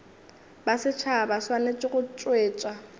ba setšhaba swanetše go tšwetša